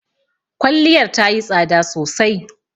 Kwalliyar tayi tsada sosai.